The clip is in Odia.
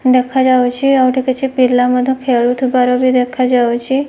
ଦେଖା ଯାଉଚି ଆଉ ଏଠି କିଛି ପିଲା ମଧ୍ୟ ଖେଳୁ ଥିବାର ବି ଦେଖାଯାଉଚି।